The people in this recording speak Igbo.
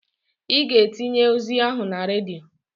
I ga-etinye ozi ahụ na redio.